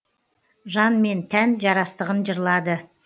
жан мен тән жарастығын жырлады